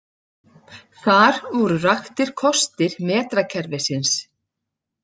Þar voru raktir kostir metrakerfisins.